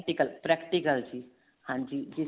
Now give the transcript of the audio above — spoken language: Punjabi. practical practical ਜੀ ਹਾਂਜੀ